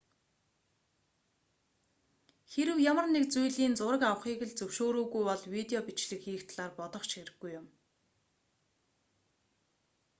хэрэв ямар нэг зүйлийн зураг авахыг л зөвшөөрөөгүй бол видео бичлэг хийх талаар бодох ч хэрэггүй юм